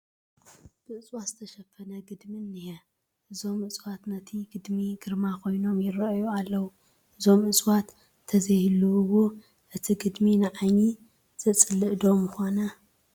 ብእፅዋት ዝተሸፈነ ግድሚ እኒሀ፡፡ እቶም እፅዋት ነቲ ግድሚ ግርማ ኮይኖሞ ይርአዩ ኣለዉ፡፡ እዞም እፅዋት እንተዘይህልውዎ እቲ ግድሚ ንዓይኒ ዘፅልእ ዶ ምኾነ?